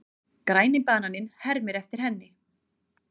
Græni bananinn hermir eftir henni.